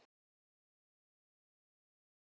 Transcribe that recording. Gott!